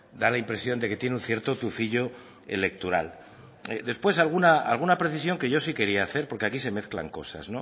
da la impresión de que tiene un cierto tufillo electoral después alguna precisión que yo si quería hacer porque aquí se mezclan cosas